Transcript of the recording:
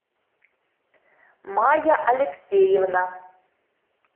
майя алексеевна